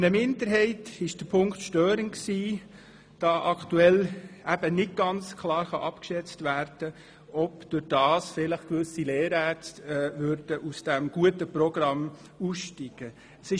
Eine Minderheit stört sich daran, weil aktuell nicht ganz klar abgeschätzt werden kann, ob dadurch vielleicht gewisse Lehrärztinnen und Lehrärzte aus diesem guten Programm aussteigen würden.